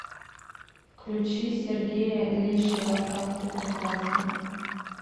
включи сергея лещева как ты прекрасна